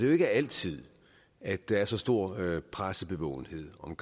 jo ikke altid at der er så stor pressebevågenhed om